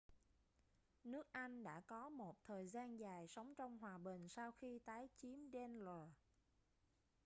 nước anh đã có một thời gian dài sống trong hòa bình sau khi tái chiếm danelaw